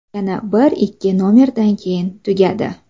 Yana bir-ikki nomerdan keyin tugadi.